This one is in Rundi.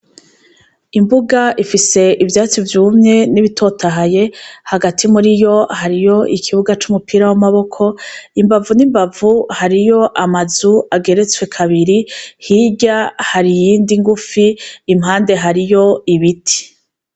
Imbuga ifise ivyatsi vyumye n'ibitotahaye hagati muri yo hariyo ikibuga c'umupira w'amaboko imbavu n'imbavu hariho amazu ageretswe kabiri hirya hari iyindi ngufi impade hariyo hariyo ibiti.